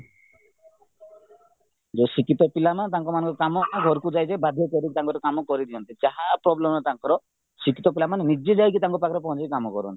ଯୋଉ ଶିକ୍ଷିତ ପିଲା ନା ତାଙ୍କ କାମ ଘରକୁ ଯାଇ ଯାଇ ବାଧ୍ୟ୍ୟ କରିକି ତାଙ୍କ ଘରେ କାମ କରିଦିଅନ୍ତି ଯାହା problem ତାଙ୍କର ଶିକ୍ଷିତ ପିଲାମାନେ ନିଜେ ଯାଇ ତାଙ୍କ ପାଖରେ ପହଁଚି କାମ କରନ୍ତି